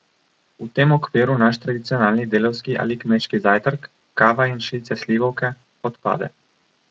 V tem okviru naš tradicionalni delavski ali kmečki zajtrk, kava in šilce slivovke, odpade.